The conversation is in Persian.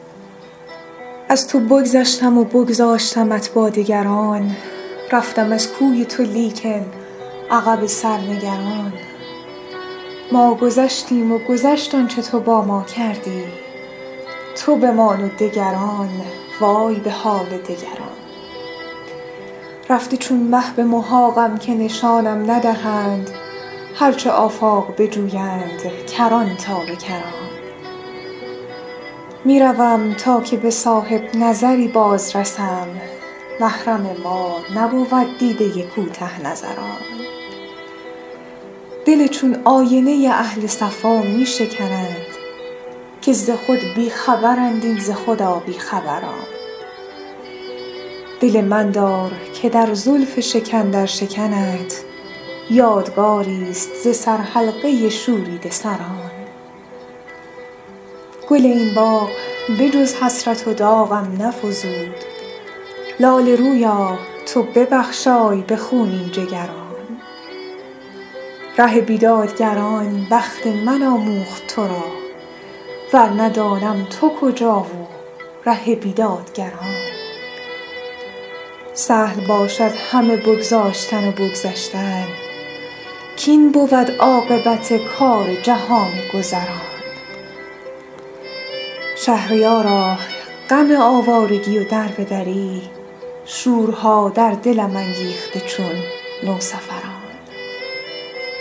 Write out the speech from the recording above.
از تو بگذشتم و بگذاشتمت با دگران رفتم از کوی تو لیکن عقب سر نگران ما گذشتیم و گذشت آنچه تو با ما کردی تو بمان و دگران وای به حال دگران رفته چون مه به محاقم که نشانم ندهند هرچه آفاق بجویند کران تا به کران می روم تا که به صاحب نظری بازرسم محرم ما نبود دیده کوته نظران دل چون آینه اهل صفا می شکنند که ز خود بی خبرند این ز خدا بی خبران دل من دار که در زلف شکن در شکنت یادگاریست ز سرحلقه شوریده سران گل این باغ به جز حسرت و داغم نفزود لاله رویا تو ببخشای به خونین جگران ره بیدادگران بخت من آموخت ترا ورنه دانم تو کجا و ره بیدادگران سهل باشد همه بگذاشتن و بگذشتن کاین بود عاقبت کار جهان گذران شهریارا غم آوارگی و دربه دری شورها در دلم انگیخته چون نوسفران